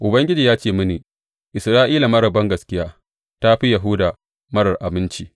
Ubangiji ya ce mini, Isra’ila marar bangaskiya ta fi Yahuda marar aminci.